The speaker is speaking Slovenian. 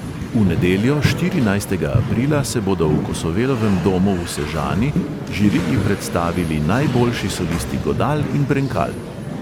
V nedeljo, štirinajstega aprila, se bodo v kosovelovem domu v sežani žiriji predstavili najboljši solisti godal in brenkal.